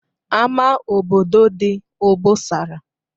Ama obodo dị obosara